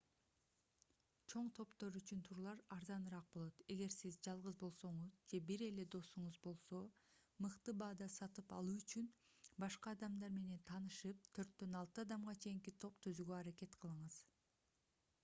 чоң топтор үчүн турлар арзаныраак болот эгер сиз жалгыз болсоңуз же бир эле досуңуз болсо мыкты баада сатып алуу үчүн башка адамдар менен таанышып төрттөн алты адамга чейинки топ түзүүгө аракет кылыңыз